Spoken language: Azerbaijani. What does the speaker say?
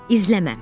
İzləmə.